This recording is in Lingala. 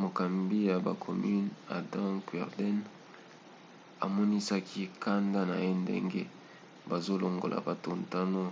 mokambi ya bacommunes adam cuerden amonisaki kanda na ye ndenge bazolongola bato ntango